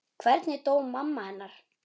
Hvernig dó mamma hennar?